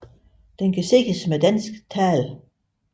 Den kan ses med dansk tale